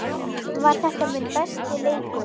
Var þetta minn besti leikur?